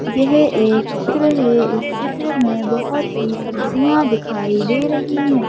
यह एक चित्र है इस चित्र में बहुत सी सब्जियां दिखाई दे रही हैं।